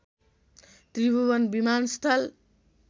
त्रिभुवन विमानस्थल